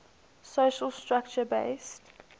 social structure based